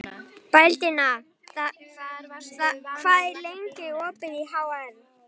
Baldína, hvað er lengi opið í HR?